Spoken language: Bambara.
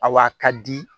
Awa ka di